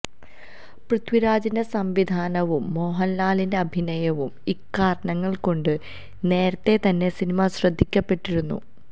പൃഥ്വിരാജിന്റെ സംവിധാനവും മോഹന്ലാലിന്റെ അഭിനയവും ഇക്കാരണങ്ങള് കൊണ്ട് നേരത്തെ തന്നെ സിനിമ ശ്രദ്ധിക്കപ്പെട്ടിരുന്നു